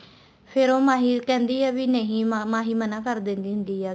ਫ਼ੇਰ ਉਹ ਮਾਹੀ ਕਹਿੰਦੀ ਆ ਵੀ ਨਹੀਂ ਮਾਹੀ ਮਨਾ ਕਰ ਦਿੰਦੀ ਹੁੰਦੀ ਆ